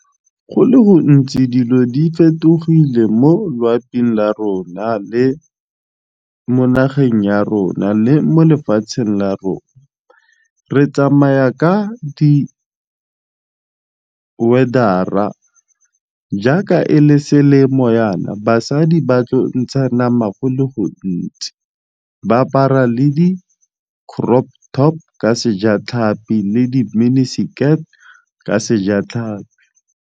Go le gontsi dilo di fetogile mo loaping la rona le mo nageng ya rona le mo lefatsheng la rona, re tsamaya ka di weather-ra jaaka e le selemo jaana basadi ba tlo ntsha nama go le gontsi ba apara le di crop top ka sejatlhapi le di mini-skirt ka sejatlhapi.